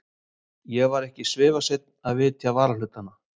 Ég var ekki svifaseinn að vitja varahlutanna.